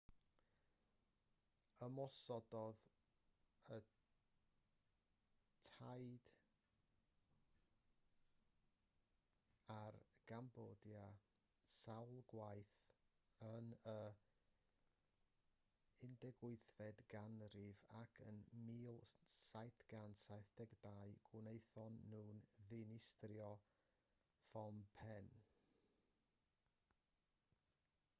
ymosododd y taiaid ar gambodia sawl gwaith yn y 18fed ganrif ac yn 1772 gwnaethon nhw ddinistrio phnom phen